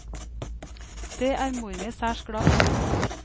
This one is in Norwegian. Det er mor mi særs glad for.